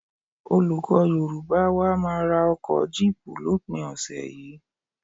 Olùkọ́ Yorùbá wa máa ra ọkọ̀ jíìpù lópin ọ̀sẹ̀ yìí